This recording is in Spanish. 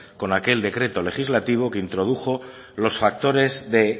con aquel decreto legislativo que introdujo los factores de